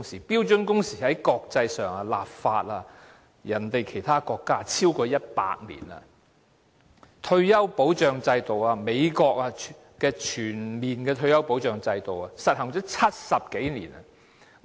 但是在國際上，其他國家已就標準工時立法超過100年；至於退休保障制度，美國的全面退休保障制度已實行了70多年。